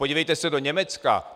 Podívejte se do Německa.